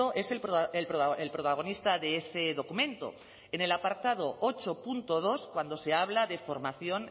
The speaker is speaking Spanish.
es el protagonista de ese documento en el apartado ocho punto dos cuando se habla de formación